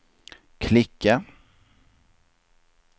klicka